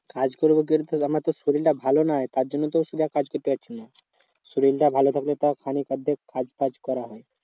কাজ করবো বলতে গেলে আমার তো শরীর টা ভালো নয় তার জন্য তো ওষুধে কাজ করতে পারছে না। শরীরটা ভালো থাকলে তাও খানিক অর্ধেক কাজ ফাজ করা হয়।